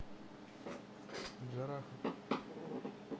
джарахов